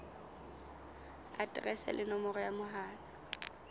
aterese le nomoro ya mohala